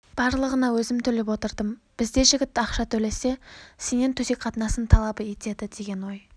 барлығына өзім төлеп отырдым бізде жігіт ақша төлесе сенен төсек қатынасын талап етеді деген ой